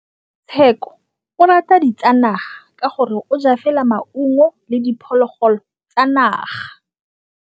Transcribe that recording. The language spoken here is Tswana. Tshekô o rata ditsanaga ka gore o ja fela maungo le diphologolo tsa naga.